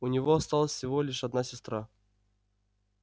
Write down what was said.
у него осталась всего лишь одна сестра